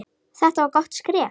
Þetta var gott skref.